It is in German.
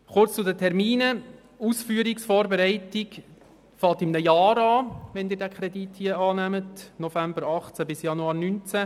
Kurz zu den Terminen: Die Ausführungsvorbereitung beginnt in einem Jahr, wenn Sie den Kredit hier annehmen, genauer gesagt im November 2018, und dauert bis Januar 2019.